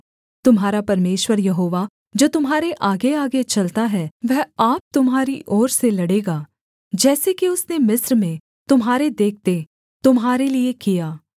तुम्हारा परमेश्वर यहोवा जो तुम्हारे आगेआगे चलता है वह आप तुम्हारी ओर से लड़ेगा जैसे कि उसने मिस्र में तुम्हारे देखते तुम्हारे लिये किया